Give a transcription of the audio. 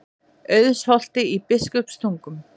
Auðsholti í Biskupstungum.